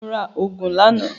Mo ra ògùn lánàá